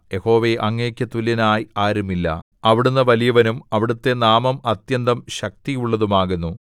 യഹോവേ അങ്ങേക്കു തുല്യനായി ആരുമില്ല അവിടുന്ന് വലിയവനും അവിടുത്തെ നാമം അത്യന്തം ശക്തിയുള്ളതും ആകുന്നു